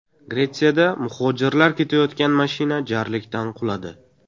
Gretsiyada muhojirlar ketayotgan mashina jarlikdan quladi.